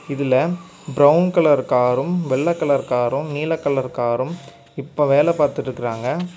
இதுல brown colour காரும் வெள்ளை கலர் காரும் நீல கலர் காரும் இப்ப வேலை பாத்துட்டுருக்காங்க.